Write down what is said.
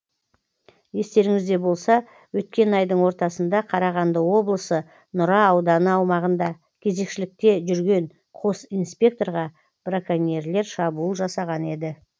естеріңізде болса өткен айдың ортасында қарағанды облысы нұра ауданы аумағында кезекшілікте жүрген қос инспекторға браконьерлер шабуыл жасаған еді